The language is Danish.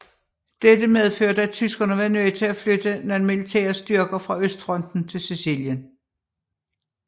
Dette medførte at tyskerne var nødt til at flytte nogle militære styrker fra Østfronten til Sicilien